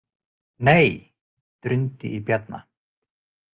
Nei, drundi í Bjarna.